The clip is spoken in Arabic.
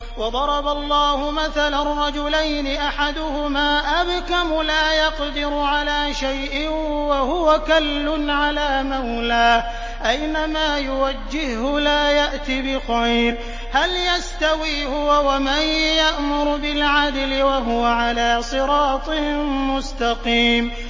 وَضَرَبَ اللَّهُ مَثَلًا رَّجُلَيْنِ أَحَدُهُمَا أَبْكَمُ لَا يَقْدِرُ عَلَىٰ شَيْءٍ وَهُوَ كَلٌّ عَلَىٰ مَوْلَاهُ أَيْنَمَا يُوَجِّههُّ لَا يَأْتِ بِخَيْرٍ ۖ هَلْ يَسْتَوِي هُوَ وَمَن يَأْمُرُ بِالْعَدْلِ ۙ وَهُوَ عَلَىٰ صِرَاطٍ مُّسْتَقِيمٍ